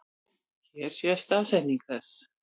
Hér sést staðsetning þess.